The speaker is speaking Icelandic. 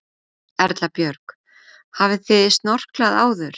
Erla Björg: Hafið þið snorklað áður?